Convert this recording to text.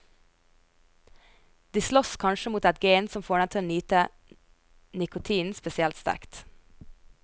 De slåss kanskje mot et gen som får dem til å nyte nikotinen spesielt sterkt.